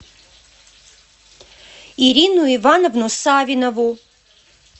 ирину ивановну савинову